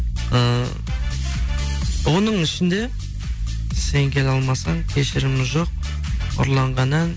і оның ішінде сен келе алмасаң кешірім жоқ ұрланған ән